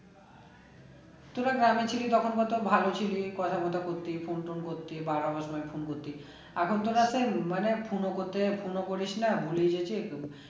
তোরা গ্রামে ছিলি তখন কত ভালো ছিলি কথা করতি phone টোন করতি বারো মাস আমায় phone করতি এখন তো মানে phone ও করতে মানে phone ও করিস না ভুলে গেছিস